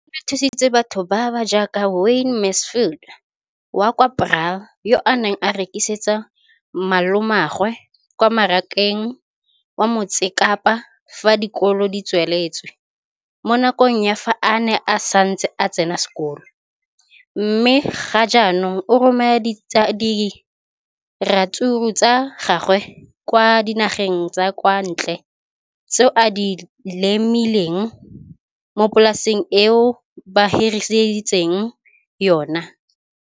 leno le thusitse batho ba ba jaaka Wayne Mansfield, 33, wa kwa Paarl, yo a neng a rekisetsa malomagwe kwa Marakeng wa Motsekapa fa dikolo di tswaletse, mo nakong ya fa a ne a santse a tsena sekolo, mme ga jaanong o romela diratsuru tsa gagwe kwa dinageng tsa kwa ntle tseo a di lemileng mo polaseng eo ba mo hiriseditseng yona.